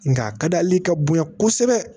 Nga a ka di hali ka bonya kosɛbɛ